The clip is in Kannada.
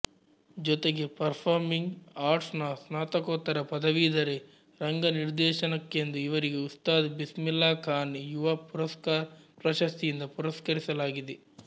ಜೊತೆಗೆ ಪರ್ಫಾರ್ಮಿಂಗ್ ಆರ್ಟ್ಸ್ ನ ಸ್ನಾತಕೋತ್ತರ ಪದವಿಧರೆ ರಂಗನಿರ್ದೇಶನಕ್ಕೆಂದು ಇವರಿಗೆ ಉಸ್ತಾದ್ ಬಿಸ್ಮಿಲ್ಲಾ ಖಾನ್ ಯುವಾ ಪುರಸ್ಕಾರ್ ಪ್ರಶಸ್ತಿಯಿಂದ ಪುರಸ್ಕರಿಸಲಾಗಿದೆ